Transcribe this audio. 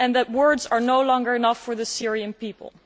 Words are no longer enough for the Syrian people.